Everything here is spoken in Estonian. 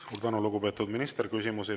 Suur tänu, lugupeetud minister!